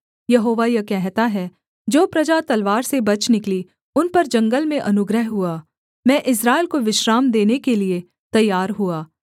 यहोवा यह कहता है जो प्रजा तलवार से बच निकली उन पर जंगल में अनुग्रह हुआ मैं इस्राएल को विश्राम देने के लिये तैयार हुआ